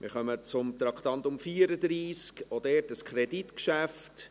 Wir kommen zum Traktandum 34, auch dies ein Kreditgeschäft.